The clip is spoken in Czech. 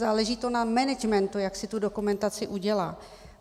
Záleží to na managementu, jak si tu dokumentaci udělá.